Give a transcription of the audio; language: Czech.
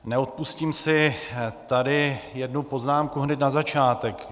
Neodpustím si tady jednu poznámku hned na začátek.